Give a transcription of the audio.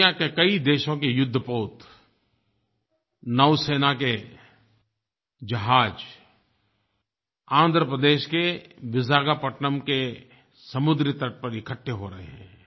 दुनिया के कई देशों के युद्धपोत नौसेना के जहाज़ आंध्र प्रदेश के विशाखापत्तनम के समुद्री तट पर इकट्ठे हो रहे हैं